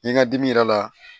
Ni n ka dimi yɛrɛ la